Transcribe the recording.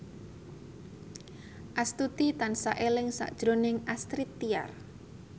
Astuti tansah eling sakjroning Astrid Tiar